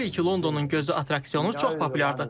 Bilirik ki, Londonun gözü attraksiyonu çox populyardır.